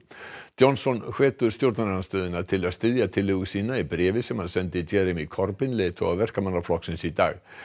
Johnson hvetur stjórnarandstöðuna til að styðja tillögu sína í bréfi sem hann sendi Jeremy Corbyn leiðtoga Verkamannaflokksins í dag